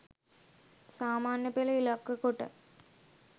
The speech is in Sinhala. සාමාන්‍ය පෙළ ඉලක්ක කොට